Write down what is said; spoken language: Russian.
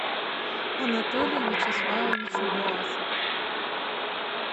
анатолий вячеславович власов